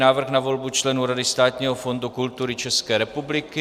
Návrh na volbu členů Rady Státního fondu kultury České republiky